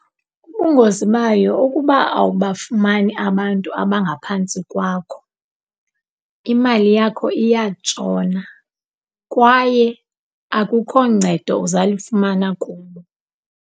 Ubungozi bayo ukuba awubafumani abantu abangaphantsi kwakho, imali yakho iyatshona kwaye akukho ncedo uzawulifumana kubo.